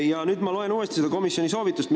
Ma loen nüüd uuesti neid komisjoni soovitusi.